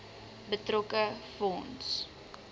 betrokke fonds